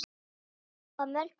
Já, að mörgu leyti.